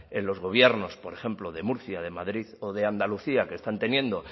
en los gobiernos por ejemplo de murcia de madrid o de andalucía que están teniendo